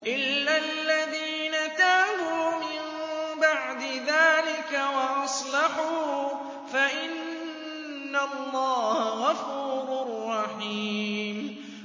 إِلَّا الَّذِينَ تَابُوا مِن بَعْدِ ذَٰلِكَ وَأَصْلَحُوا فَإِنَّ اللَّهَ غَفُورٌ رَّحِيمٌ